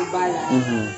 Ba la